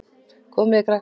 Komið þið, krakkar!